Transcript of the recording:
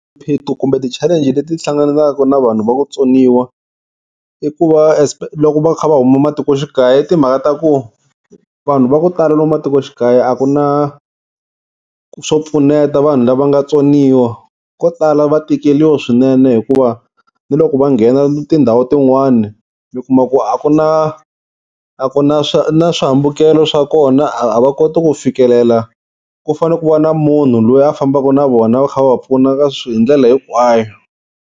Swiphiqo kumbe ti-challenge leti ti hlanganaka na vanhu va ku tsoniwa i ku va loko va kha va huma matikoxikaya i timhaka ta ku vanhu va ku tala lomu matikoxikaya a ku na swo pfuneta vanhu lava nga tsoniwa, ko tala va tikeriwa swinene hikuva ni loko va nghena tindhawu tin'wani mi kuma ku a ku na a ku na na swihambukelo swa kona a va koti ku fikelela kufane ku va na munhu loyi a fambaka na vona va kha va va pfuna hi ndlela hinkwayo.